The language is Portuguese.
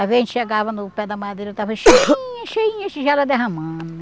A gente chegava no pé da madeira, estava cheinha, cheinha, tigela derramando.